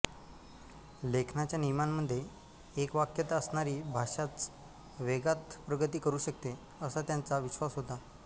लेखनाच्या नियमांमध्ये एकवाक्यता असणारी भाषाच वेगात प्रगती करू शकते असा त्यांचा विश्वास होता